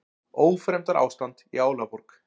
Ófremdarástand í Álaborg